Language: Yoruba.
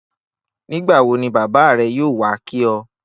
Nígbà wo ni bábá rè̩ yóò wá kí o̩?